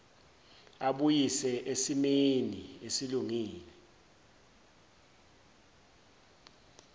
abuyise esesimeni esilungile